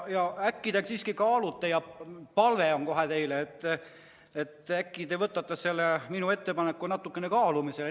Minu palve on, et äkki te võtate selle minu ettepaneku natukene kaalumisele.